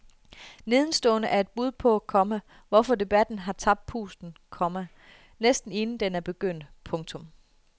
Nedenstående er et bud på, komma hvorfor debatten har tabt pusten, komma næsten inden den er begyndt. punktum